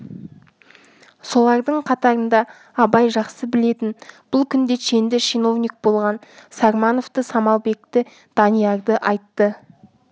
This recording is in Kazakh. солардың қатарында абай жақсы білетін бұл күнде шенді чиновник болған сармановты самалбекті даниярды айтты